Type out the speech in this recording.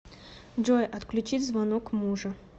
джой отключить звонок мужа